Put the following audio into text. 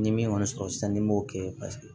Ni min kɔni sɔrɔ sisan ni m'o kɛ paseke